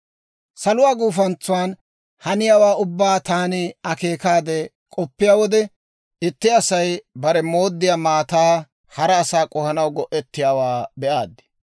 Saluwaa gufantsan haniyaawaa ubbaa taani akeekaade k'oppiyaa wode, itti Asay barew mooddiyaa maataa hara asaa k'ohanaw go'ettiyaawaa be'aad.